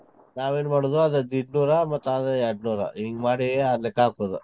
ನಾವ್ ಏನ್ ಮಾಡುದ್ ಅದೇ ಮತ್ತೆ ಅದೇ ಎಂಟ್ನೂರ ಹಿಂಗ್ ಮಾಡಿ ಆ ಲೆಕ್ಕ ಹಾಕುದ್.